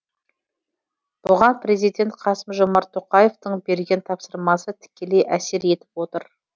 бұған президент қасым жомарт тоқаевтың берген тапсырмасы тікелей әсер етіп отыр